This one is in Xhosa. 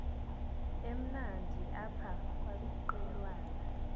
emnandi apha kwaqhelwana